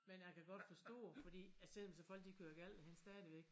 Men jeg kan godt forstå fordi at selvom så folk de kører galt derhenne stadigvæk